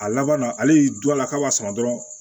A laban na ale du a la k'a b'a sama dɔrɔn